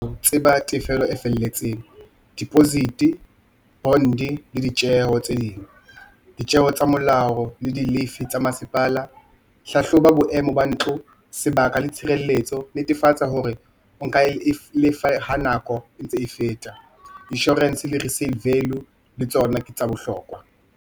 Tseba tefello e felletseng deposit, bond-e le ditjeho tse ding. Ditjeho tsa molao le di-levy tsa masepala. Hlahloba boemo ba ntlo, sebaka le tshireletso, netefatsa hore o nka e lefa ha nako e ntse e feta. Insurance le receive value le tsona ke tsa bohlokwa.